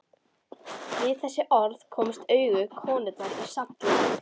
Við þessi orð komust augu konunnar í samt lag.